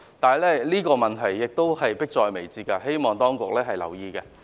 這個問題已經迫在眉睫，希望當局留意。